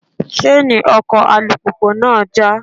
Ṣáánì ọkọ̀ alùpùpù náà já.